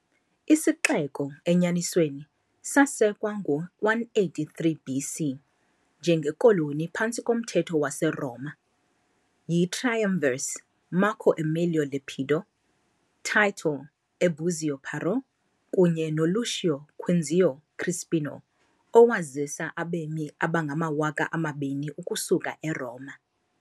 Isixeko, enyanisweni, sasekwa ngo-183 BC, njengekoloni phantsi komthetho waseRoma, yi-triumvirs Marco Emilio Lepido, Title Ebuzio Parro kunye noLucio Quinzio Crispino owazisa abemi abangamawaka amabini ukusuka eRoma.